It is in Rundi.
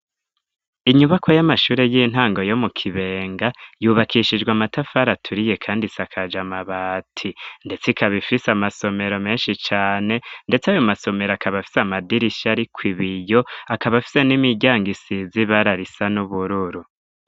Inyubako y'amashure y'intango yo mu kibenga yubakishijwe amatafari aturiye kandi isakaja mabati ndetse ikabaifise amasomero menshi cyane ndetse ayo masomero akaba afise amadirisha ari ku ibiyo akaba afise n'imijyango isizi bararisa n'ubururu.